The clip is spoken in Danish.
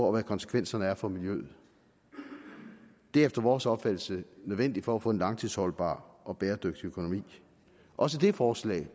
og hvad konsekvenserne er for miljøet det er efter vores opfattelse nødvendigt for at få en langtidsholdbar og bæredygtig økonomi også det forslag